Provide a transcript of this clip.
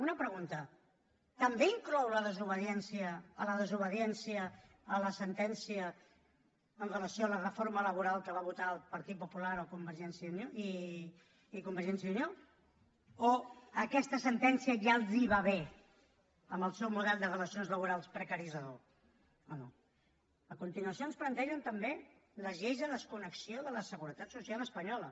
una pregunta també inclou la desobediència la desobediència a la sentència en relació amb la reforma laboral que van votar el partit popular i convergència i unió o aquesta sentència ja els va bé en el seu model de relacions laborals precaritzador o no a continuació ens plantegen també les lleis de desconnexió de la seguretat social espanyola